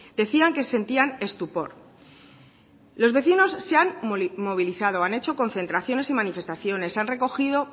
decían que sentían estupor los vecinos se han movilizado han hecho concentraciones y manifestaciones han recogido